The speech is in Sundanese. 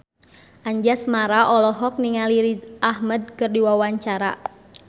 Anjasmara olohok ningali Riz Ahmed keur diwawancara